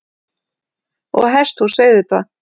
Og hesthús auðvitað.